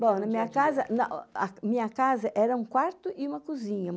Bom, na minha casa na, a minha casa era um quarto e uma cozinha.